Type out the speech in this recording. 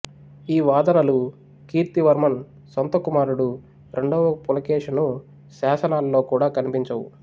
ఈ వాదనలు కీర్తివర్మన్ సొంత కుమారుడు రెండవ పులకేషిను శాసనాలలో కూడా కనిపించవు